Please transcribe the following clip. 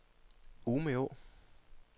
Umeå